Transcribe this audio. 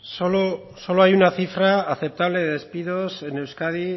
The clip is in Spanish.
solo hay una cifra aceptable de despidos en euskadi